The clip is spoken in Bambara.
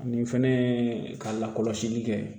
Nin fɛnɛ ye ka lakɔlɔsili kɛ